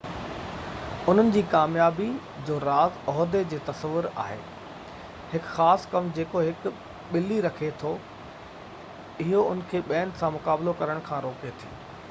انهن جي ڪاميابي جو راز عهدي جو تصور آهي هڪ خاص ڪم جيڪو هڪ ٻلي رکي ٿي اهو ان کي ٻين سان مقابلو ڪرڻ کان روڪي ٿي